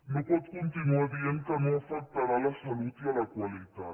no pot continuar dient que no afectarà la salut i la qualitat